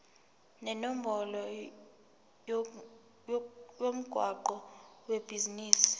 nenombolo yomgwaqo webhizinisi